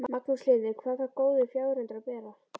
Magnús Hlynur: Hvað þarf góður fjárhundur að bera?